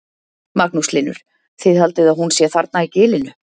Magnús Hlynur: Þið haldið að hún sé þarna í gilinu?